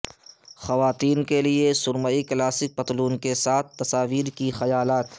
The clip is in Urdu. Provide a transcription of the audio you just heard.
خواتین کے لئے سرمئی کلاسک پتلون کے ساتھ تصاویر کی خیالات